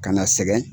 Ka na sɛgɛn